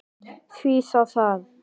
Því þá það?